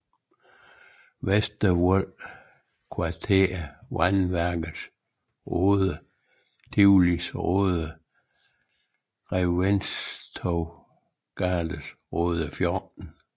Vestervold Kvarter Vandværkets Rode Tivolis Rode Reventlowsgades Rode 14